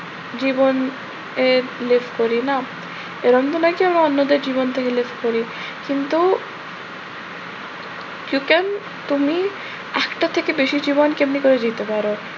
জীবনে leave করি না? এরম তো নয় কি আমি অন্যদের জীবন থেকে leave করি। কিন্তু you can তুমি একটা থেকে বেশি জীবন তুমি কেমনে করে দিতে পারো?